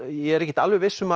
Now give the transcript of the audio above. ég er ekkert alveg viss um